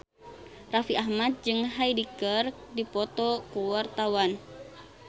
Raffi Ahmad jeung Hyde keur dipoto ku wartawan